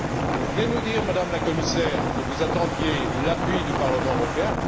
Vous venez de nous dire, Madame la Commissaire, que vous attendiez l'appui du Parlement européen.